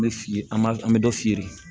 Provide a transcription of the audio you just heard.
N bɛ fili an b'a an bɛ dɔ feere